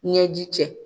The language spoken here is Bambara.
Ɲɛji cɛ